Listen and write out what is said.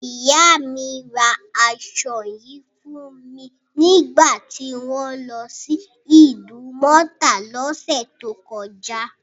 Ìyá mi ra aṣọ yìí fún mi nígbà tí wọ́n lọ sí Ìdúmọ̀tà lọ́sẹ̀ tó kọjá.